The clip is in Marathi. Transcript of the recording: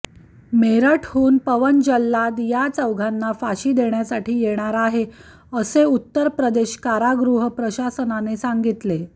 मिरतहून पवन जल्लाद या चौघांना फाशी देण्यासाठी येणार आहे असे उत्तर प्रदेश कारागृह प्रशासनाने सांगितले